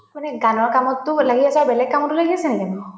মানে গানৰ কামটো ওলায়ে আছা বেলেগ কামটো ওলাই গৈ আছা